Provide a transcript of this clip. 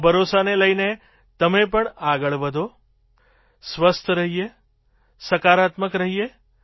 આ ભરોસાને લઈને તમે પણ આગળ વધીએ સ્વસ્થ રહીએ સકારાત્મક રહીએ